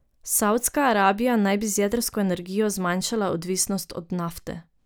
Savdska Arabija naj bi z jedrsko energijo zmanjšala odvisnost od nafte.